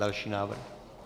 Další návrh.